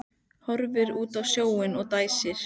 Horfir út á sjóinn og dæsir.